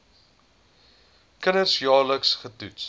kinders jaarliks getoets